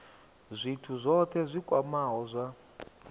zwithu zwohe zwi kwamaho zwa